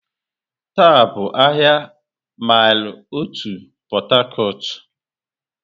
Taa bụ ahịa Maịlị Otu Port Harcourt.